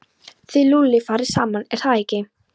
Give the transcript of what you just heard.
Þið Lúlli farið saman, er það ekki?